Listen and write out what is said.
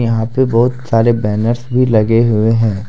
यहां पे बहुत सारे बैनर्स भी लगे हुए हैं ।